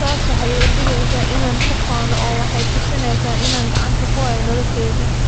Taasi waxay iga dhigeysaa inaan ku faano oo waxay tusinaysaa inaan gacanta ku hayo noloshayda."""